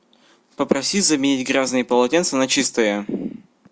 попроси заменить грязные полотенца на чистые